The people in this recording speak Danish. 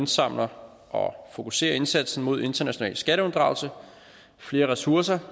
samler og fokuserer indsatsen mod international skatteunddragelse flere ressourcer